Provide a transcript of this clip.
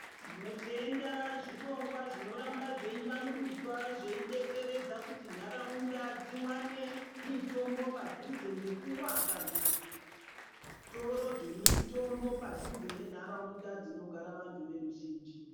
Tinotenda zvirongwa zvinoramba zveivandudzwa zveidetseredza kuti nharaunda dziwane mitombo padhuze ngekuwaka zvitoro zvemitombo padhuze nenharaunda dzinogara vanthu veruzhinji.